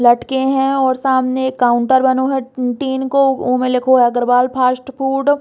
लटके है और सामने एक काउंटर बनो है टिन को उमें लिखो है अग्रवाल फ़ास्ट फ़ूड ।